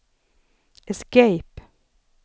escape